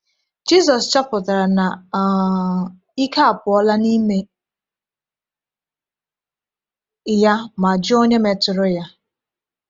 Jisus chọpụtara na um ike apụọla n’ime ya ma jụọ onye metụrụ ya.